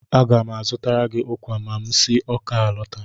Aga m azụtara gị ụkwa ma m si Awka alọta.